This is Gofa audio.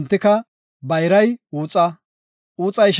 Hessafe guye, Abrahaames, “Milka ne isha Naakoras nayta yelasu;